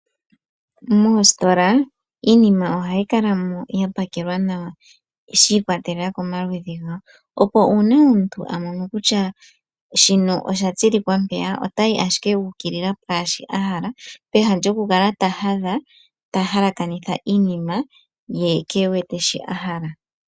Moositola iinima ohayi kala mo ya pakelwa nawa shi ikwatelela komaludhi gayo opo uuna omuntu a mono kutya shino osha tsilikwa mpeya, otayi ashike a ukilila peha lyoku kala ta hadha, ta halakanitha iinima, ye keewete shi ahala.